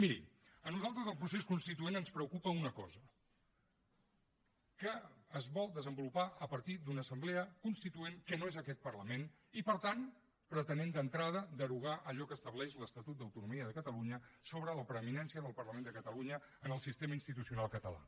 miri a nosaltres del procés constituent ens preocupa una cosa que es vol desenvolupar a partir d’una assemblea constituent que no és aquest parlament i per tant pretenent d’entrada derogar allò que estableix l’estatut d’autonomia de catalunya sobre la preeminència del parlament de catalunya en el sistema institucional català